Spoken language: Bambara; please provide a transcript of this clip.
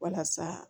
Walasa